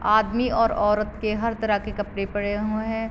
आदमी और औरत के हर तरह के कपड़े पड़े हुए हैं।